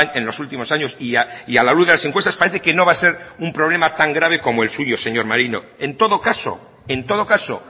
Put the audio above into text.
en los últimos años y a la luz de las encuestas parece que no va a ser un problema tan grave como el suyo señor maneiro en todo caso